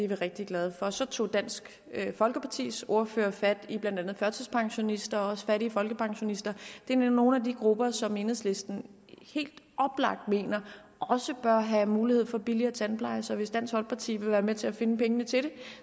rigtig glade for så tog dansk folkepartis ordfører fat i blandt andet førtidspensionister og fattige folkepensionister det er nogle af de grupper som enhedslisten helt oplagt mener også bør have mulighed for billigere tandpleje så hvis dansk folkeparti vil være med til at finde penge til det